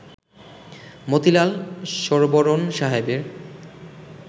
মতিলাল শরবোরণ সাহেবের